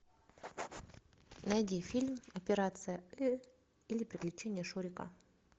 найди фильм операция ы или приключения шурика